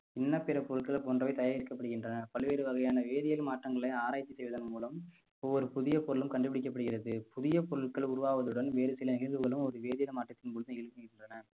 இன்ன பிற பொருட்கள் போன்றவை தயாரிக்கப்படுகின்றன பல்வேறு வகையான வேதியியல் மாற்றங்களை ஆராய்ச்சி செய்வதன் மூலம் ஒவ்வொரு புதிய பொருளும் கண்டுபிடிக்கப்படுகிறது புதிய பொருட்கள் உருவாவதுடன் வேறு சில நிகழ்வுகளும் ஒரு வேதியல் மாற்றத்தின் போது எழுப்புகின்றன